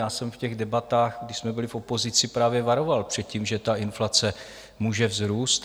Já jsem v těch debatách, když jsme byli v opozici, právě varoval před tím, že ta inflace může vzrůst.